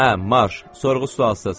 Hə, marş, sorğu-sualsız.